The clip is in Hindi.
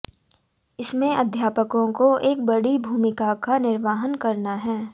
इसमें अध्यापकों को एक बड़ी भूमिका का निर्वहन करना है